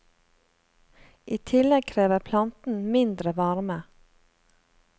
I tillegg krever planten mindre varme.